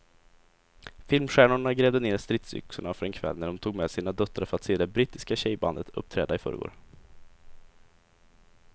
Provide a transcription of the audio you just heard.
Filmstjärnorna grävde ned stridsyxorna för en kväll när de tog med sina döttrar för att se det brittiska tjejbandet uppträda i förrgår.